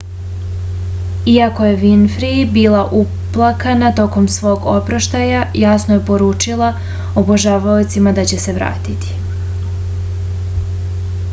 iako je vinfri bila uplakana tokom svog oproštaja jasno je poručila obožavaocima da će se vratiti